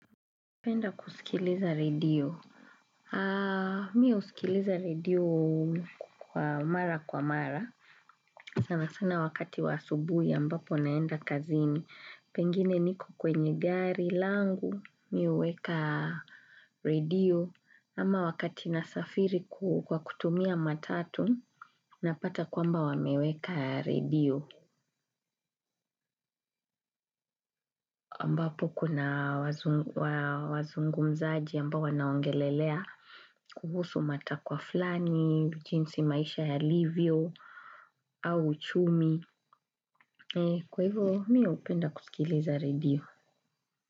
Napenda kusikiliza redio. Mimi husikiliza redio kwa mara kwa mara. Sana sana wakati wa asubuhi ambapo naenda kazini. Pengine niko kwenye gari langu mimi huweka redio. Ama wakati nasafiri kwa kutumia matatu. Napata kwamba wameweka redio. Ambapo kuna wazungmzaji ambapo wanaongelelea. Kuhusu matakwa fulani, jinsi maisha yalivyo, au uchumi. Kwa hivyo, mimi hupenda kusikiliza redio.